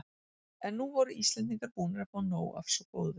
En nú voru Íslendingar búnir að fá nóg af svo góðu.